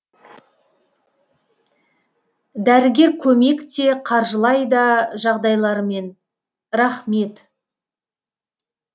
дәрігер көмек те қаржылай да жағдайларымен рахмет